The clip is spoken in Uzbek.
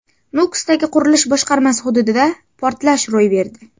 Nukusdagi qurilish boshqarmasi hududida portlash ro‘y berdi.